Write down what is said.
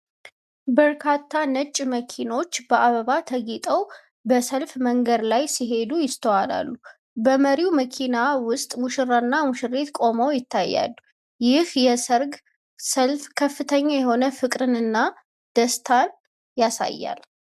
በርካታ ነጭ መኪኖች በአበባ ተጌጠው፣ በሰልፍ መንገድ ላይ ሲሄዱ ይስተዋላሉ። በመሪው መኪና ውስጥ ሙሽራውና ሙሽሪት ቆመው ይታያሉ። ይህ የሠርግ ሰልፍ ከፍተኛ የሆነ ፍቅርን እና ደስታን ያሳያል።